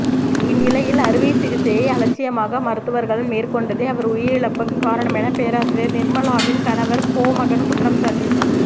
இந்நிலையில் அறுவை சிகிச்சையை அலட்சியமாக மருத்துவர்கள் மேற்கொண்டதே அவர் உயிரிழப்புக்கு காரணமென பேராசிரியர் நிர்மலாவின் கணவர் கோமகன் குற்றம்சாட்டியுள்ளார்